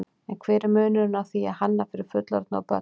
En hver er munurinn á því að hanna fyrir fullorðna og börn?